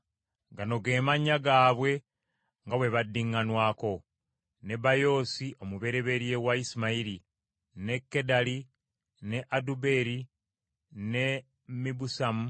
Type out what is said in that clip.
Gano ge mannya gaabwe nga bwe baddiŋŋanwako: Nebayoosi, omubereberye wa Isimayiri, ne Kedali, ne Adubeeri, ne Mibusamu,